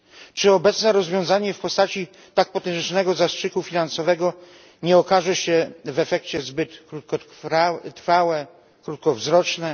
Czy obecne rozwiązanie w postaci tak potężnego zastrzyku finansowego nie okaże się w efekcie zbyt krótkotrwałe i krótkowzroczne?